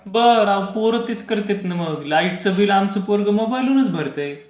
बर पोरं त्येच करतेत ना मग लाईटचा बिल आमचं पोर मोबाईल वरूनच भरतय